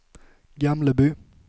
Gamleby